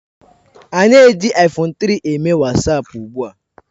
Anaghị eji iPhone 3 eme Wasapu na